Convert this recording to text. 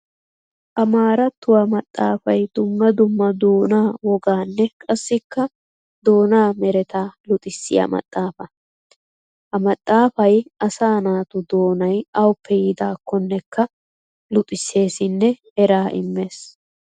Amaaratuwa maxafay dumma dumma doona woganne qassikka doona meretta luxissiya maxafa. Ha maxafay asaa naatu doonay awuppe yiidakonnekka luxiseessinne eraa immees.